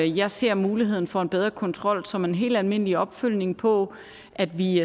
jeg ser muligheden for en bedre kontrol som en helt almindelig opfølgning på at vi